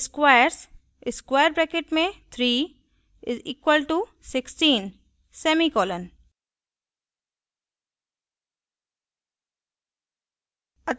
squares 3 = 16;